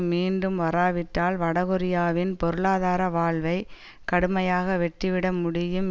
மீண்டும் வராவிட்டால் வடகொரியாவின் பொருளாதார வாழ்வை கடுமையாக வெட்டிவிட முடியும்